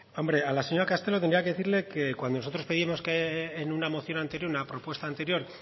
hombre a la señora castelo tendría que decirle que cuando nosotros pedimos que en una moción anterior en una propuesta anterior